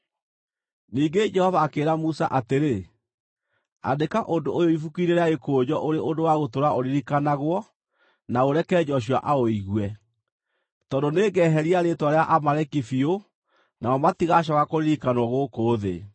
Ningĩ Jehova akĩĩra Musa atĩrĩ, “Andĩka ũndũ ũyũ ibuku-inĩ rĩa gĩkũnjo ũrĩ ũndũ wa gũtũũra ũririkanagwo na ũreke Joshua aũigue, tondũ nĩngeheria rĩĩtwa rĩa Amaleki biũ nao matigacooka kũririkanwo gũkũ thĩ.”